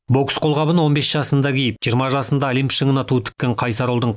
бокс қолғабын он бес жасында киіп жиырма жасында олимп шыңына ту тіккен қайсар ұлдың